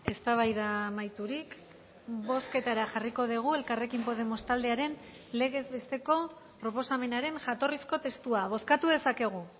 eztabaida amaiturik bozketara jarriko dugu elkarrekin podemos taldearen legez besteko proposamenaren jatorrizko testua bozkatu dezakegu